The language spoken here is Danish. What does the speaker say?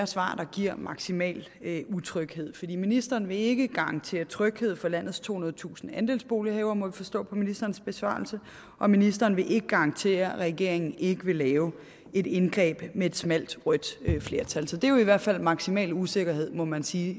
svar der giver maksimal utryghed for ministeren vil ikke garantere tryghed for landets tohundredetusind andelsbolighavere må vi forstå på ministerens besvarelse og ministeren vil ikke garantere at regeringen ikke vil lave et indgreb med et smalt rødt flertal så det er jo i hvert fald maksimal usikkerhed må man sige